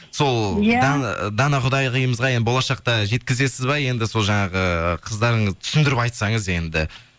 сол дана құдағиымызға енді болашақта жеткізесіз бе енді сол жаңағы қыздарыңыз түсіндіріп айтсаңыз енді